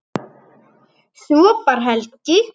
Svo bar Helgi